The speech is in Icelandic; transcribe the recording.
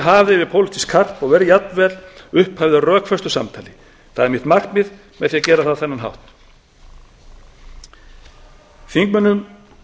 hafið yfir pólitískt karp og verði jafnvel upphafi að rökföstu samtali það er mitt markmið með því að gera það á